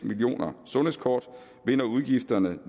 millioner sundhedskort vil når udgifterne